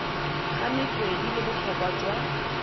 ga metswedi le botlhokwa jwa